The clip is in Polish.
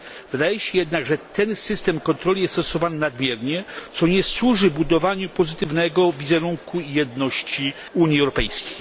Wydaje się jednak, że ten system kontroli jest stosowany nadmiernie, co nie służy budowaniu pozytywnego wizerunku jedności Unii Europejskiej.